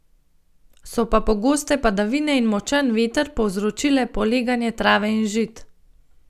So pa pogoste padavine in močan veter povzročile poleganje trave in žit.